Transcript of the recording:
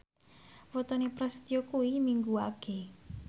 wetone Prasetyo kuwi Minggu Wage